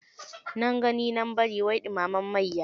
Nan gani nan bari wai dumamen mayya.